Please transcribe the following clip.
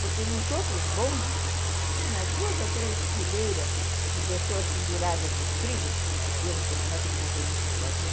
Porque nos outros bondes, que tinha duas ou três fileiras de pessoas penduradas no estribo, e eu não sei como é que os motoristas faziam,